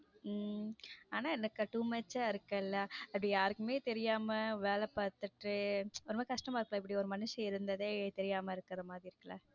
உம் ஆனா என்னக்கா to much ஆ இருக்குல அது யாருக்குமே தெரியாம வேலை பார்த்துட்டு ஒரு மாறி கஷ்டமா இருக்குல இப்பிடி ஒரு மனிசி இருந்தது தெரியாம இருக்கிற மாதிரி இருக்குல.